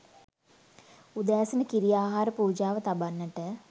උදෑසන කිරි ආහාර පූජාව තබන්නට